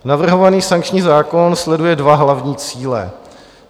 Navrhovaný sankční zákon sleduje dva hlavní cíle.